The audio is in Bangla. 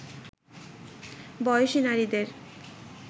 বয়সী নারীদের